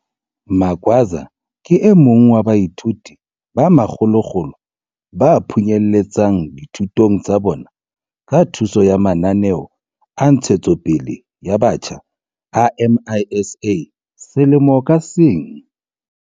Magwaza ke e mong wa baithuti ba makgolokgolo ba phunyeletsang dithutong tsa bona ka thuso ya mananeo a ntshetsopele ya batjha a MISA selemo ka seng.